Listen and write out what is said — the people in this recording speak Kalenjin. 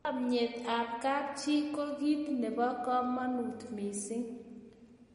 chamiet ab kap chi ko kit nebo kamagut mising